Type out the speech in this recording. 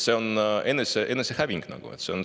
See on nagu enesehävitamine.